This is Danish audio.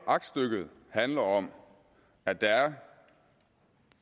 aktstykket handler om at der er